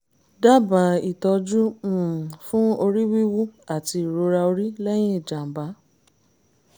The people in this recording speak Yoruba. dábàá ìtọ́jú um fún orí wíwú àti ìrora orí lẹ́yìn ìjàm̀bá